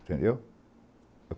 Entendeu?